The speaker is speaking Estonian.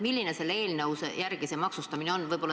Milline selle eelnõu järgi see maksustamine on?